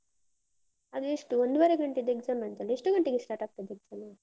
ಅದು ಎಷ್ಟು ಒಂದುವರೆ ಗಂಟೆದ್ದು exam ಅಂತಲ್ಲೆ, ಎಷ್ಟು ಗಂಟೆಗೆ start ಆಗ್ತದೆ exam.